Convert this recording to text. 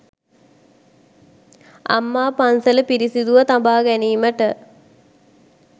අම්මා පන්සල පිරිසිදුව තබා ගැනීමට